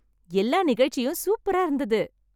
எல்லா நிகழ்ச்சியும் சூப்பரா இருந்தது.